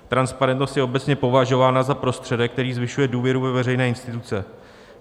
Transparentnost je obecně považována za prostředek, který zvyšuje důvěru ve veřejné instituce.